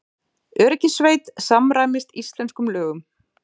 Öryggissveit samræmist íslenskum lögum